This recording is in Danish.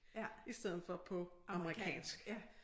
I stedet for amerikansk